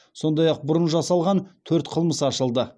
сондай ақ бұрын жасалған төрт қылмыс ашылды